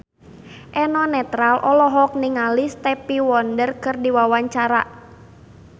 Eno Netral olohok ningali Stevie Wonder keur diwawancara